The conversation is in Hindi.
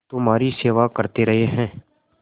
तुम्हारी सेवा करते रहे हैं